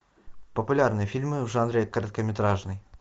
популярные фильмы в жанре короткометражный